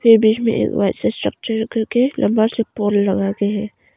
बीच में एक वैसा स्ट्रक्चर करके लंबा सा पोल लगाके है।